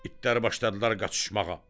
İtlər başladılar qaçışmağa.